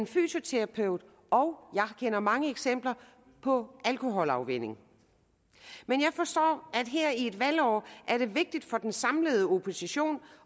fysioterapeut og jeg kender mange eksempler på alkoholafvænning men jeg forstår at her i et valgår er det vigtigt for den samlede opposition